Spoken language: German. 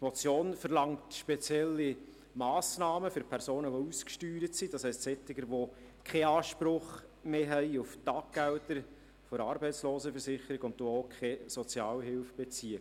Die Motion verlangt spezielle Massnahmen für Personen, die ausgesteuert sind, das heisst, für solche, die keinen Anspruch mehr haben auf Taggelder der Arbeitslosenversicherung und die auch keine Sozialhilfe beziehen.